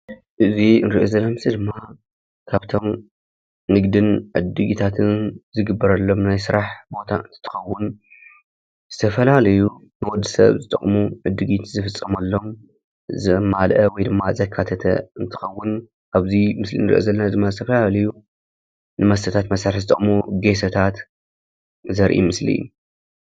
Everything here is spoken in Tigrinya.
እዚ ንሪኦ ዘለና ምስሊ ድማ ካብቶም ንግድን ዕድጊታትን ዝግበረሎም ናይ ስራሕ ቦታ እንትትኸውን ዝተፈላለዩ ንወዲ ሰብ ዝጠቕሙ ዕድጊት ዝፍፀመሎም ዘማልአ ወይ ድማ ዘካተተ እንትኸውን ኣብዚ ምስሊ ንሪኦ ዘለና ድማ ዝተፈላለዩ ንመስተታት መሳርሒ ዝጠቕሙ ጌሶታት ዘርኢ ምስሊ እዩ፡፡